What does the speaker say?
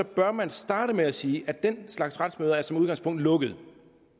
bør man starte med at sige at den slags retsmøder som udgangspunkt er lukkede